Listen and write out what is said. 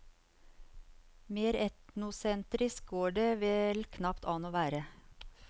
Mer etnosentrisk går det vel knapt an å være.